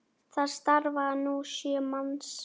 Þar starfa nú sjö manns.